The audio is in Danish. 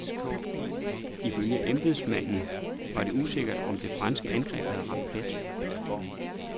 Ifølge embedsmanden var det usikkert, om det franske angreb havde ramt plet.